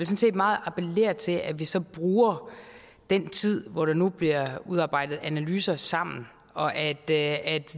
set meget appellere til at vi så bruger den tid hvor der nu bliver udarbejdet analyser sammen og at